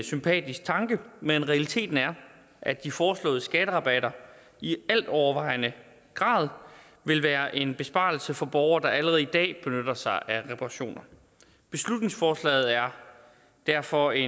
sympatisk tanke men realiteten er at de foreslåede skatterabatter i altovervejende grad vil være en besparelse for borgere der allerede i dag benytter sig af reparationer beslutningsforslaget er derfor i